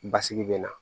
Basigi bɛ na